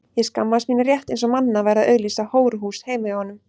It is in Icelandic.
Ég skammaðist mín rétt eins og mamma væri að auglýsa hóruhús heima hjá okkur.